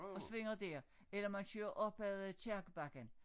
Og svinger der eller man kører op ad øh Kirkebakken